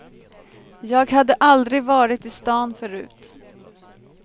Jag hade aldrig varit i stan förut.